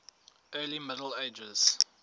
early middle ages